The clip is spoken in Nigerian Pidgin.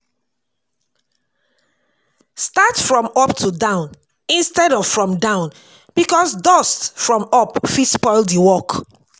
Start from up to down instead of from down because dust from up fit spoil di work